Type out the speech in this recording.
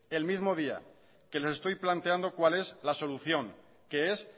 el mismo día que lo estoy planteando cuál es la solución que es